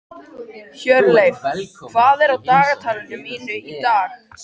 Hjörleif, hvað er á dagatalinu mínu í dag?